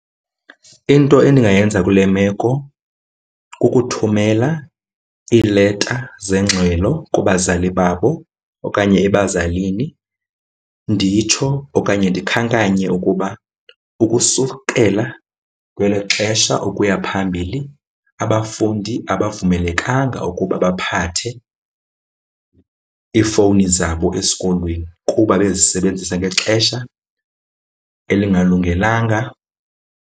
Into endingayenza kule meko kukuthumela iileta zengxelo kubazali babo okanye ebazalini nditsho okanye ndikhankanye ukuba ukusukela kwelo xesha ukuya phambili, abafundi abavumelekanga ukuba baphathe iifowuni zabo esikolweni kuba bezisebenzisa ngexesha elingalungelanga.